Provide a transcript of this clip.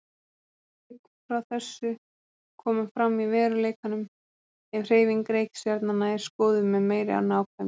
Frávik frá þessu koma fram í veruleikanum ef hreyfing reikistjarnanna er skoðuð með meiri nákvæmni.